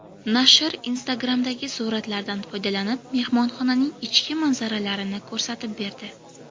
Nashr Instagram’dagi suratlardan foydalanib, mehmonxonaning ichki manzaralarini ko‘rsatib berdi.